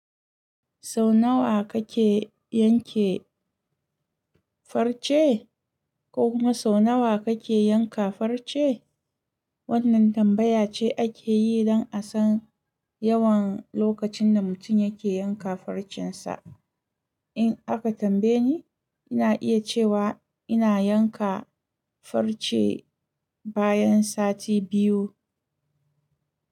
Sau nawa kake yanke farce ko kuma sau nawa kake yanka farce? Wannan tambaya ce ake yi don a san yawan lokacin da mutum yake yanka farcensa. In aka tambaye ni, ina iya cewa ina yanka farce bayan sati biyu.